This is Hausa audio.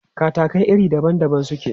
Katakai iri daban daban suke.